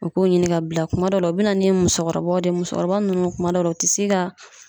O k'u ɲini ka bila kuma dɔw la u bi na ni musɔkɔrɔbaw de ye musɔkɔrɔba nunnu kuma dɔw la u ti se ka